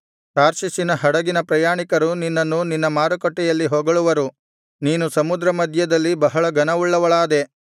ತಾರ್ಷೀಷಿನ ಹಡಗಿನ ಪ್ರಯಾಣಿಕರು ನಿನ್ನನ್ನು ನಿನ್ನ ಮಾರುಕಟ್ಟೆಯಲ್ಲಿ ಹೊಗಳುವರು ನೀನು ಸಮುದ್ರ ಮಧ್ಯದಲ್ಲಿ ಬಹಳ ಘನವುಳ್ಳವಳಾದೆ